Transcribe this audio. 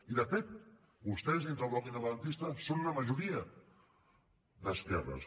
i de fet vostès dintre del bloc independentista són una majoria d’esquerres